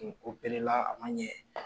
Kun a man ɲɛ.